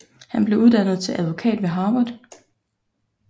Han blev uddannet til advokat ved Harvard